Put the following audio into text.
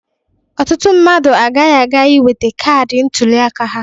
Ọtụtụ mmadụ agaghị aga iweta kaadị ntụliaka ha.